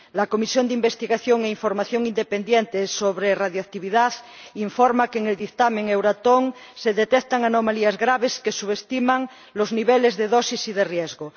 La Comisión de Investigación e Información Independientes sobre la Radiactividad informa de que en el dictamen de Euratom se detectan anomalías graves que subestiman los niveles de dosis y de riesgo.